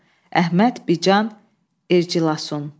Əhməd, Bican, Ercilasun.